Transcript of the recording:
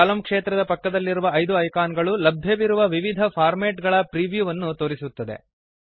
ಕಲಮ್ ಕ್ಷೇತ್ರದ ಪಕ್ಕದಲ್ಲಿರುವ ಐದು ಐಕಾನ್ ಗಳು ಲಭ್ಯವಿರುವ ವಿವಿಧ ಫಾರ್ಮ್ಯಾಟ್ ಗಳ ಪ್ರೀವ್ಯೂವನ್ನು ತೋರಿಸುತ್ತದೆ